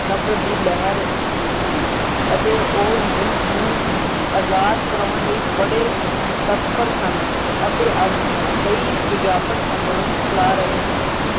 ਨਫਰਤ ਦੀ ਲਹਿਰ ਸੀ ਅਤੇ ਉਹ ਮੁਲਕ ਨੂੰ ਆਜਾਦ ਕਰਵਾਉਣ ਲਈ ਬੜੇ ਤਤਪਰ ਸਨ ਅਤੇ ਕਈ ਵਿਆਪਕ ਅੰਦੋਲਨ ਚਲਾ ਰਹੇ ਸਨ।